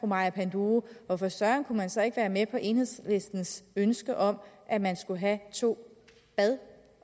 maja panduro hvorfor søren man så ikke kunne være med på enhedslistens ønske om at man skulle have to bad